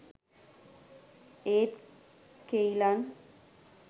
ඒත් කෙයිලන්